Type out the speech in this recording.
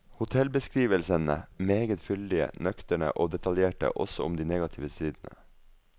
Hotellbeskrivelsene meget fyldige, nøkterne og detaljerte også om de negative sidene.